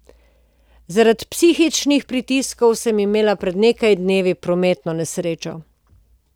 Zaradi psihičnih pritiskov sem imela pred nekaj dnevi prometno nesrečo.